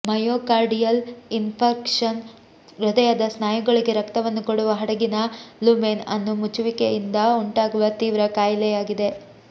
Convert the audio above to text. myocardial infarction ಹೃದಯದ ಸ್ನಾಯುಗಳಿಗೆ ರಕ್ತವನ್ನು ಕೊಡುವ ಹಡಗಿನ ಲುಮೆನ್ ಅನ್ನು ಮುಚ್ಚುವಿಕೆಯಿಂದ ಉಂಟಾಗುವ ತೀವ್ರ ಕಾಯಿಲೆಯಾಗಿದೆ